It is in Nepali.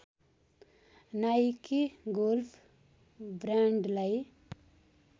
Nike golf ब्रान्डलाई